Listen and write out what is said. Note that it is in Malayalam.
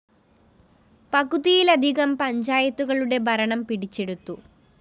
പകുതിയിലധികം പഞ്ചായത്തുകളുടെ ഭരണം പിടിച്ചെടുത്തു